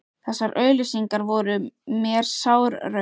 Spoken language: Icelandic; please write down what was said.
Þessar auglýsingar voru mér sár raun.